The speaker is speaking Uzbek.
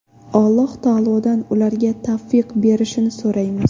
Alloh taolodan ularga tavfiq berishini so‘raymiz.